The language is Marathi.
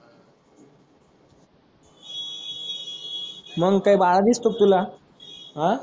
मग काय बाळा दिसतो तुला अं